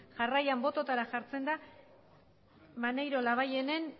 jarraian botoetara jartzen da maneiro labayenen